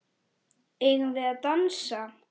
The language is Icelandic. Eigum við að dansa?